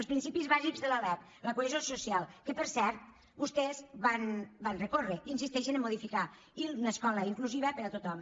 els principis bàsics de la lec la cohesió social que per cert vostès van recórrer i insisteixen a modificar i una escola inclusiva per a tothom